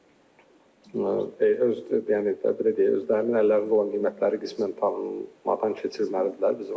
öz, yəni, belə deyək, özlərinin əllərində olan qiymətləri qismən tanınmadan keçirməlidirlər.